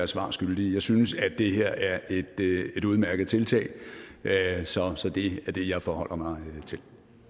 svar skyldig jeg synes at det her er et udmærket tiltag så så det er det jeg forholder mig til